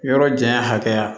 Yɔrɔ janya hakɛya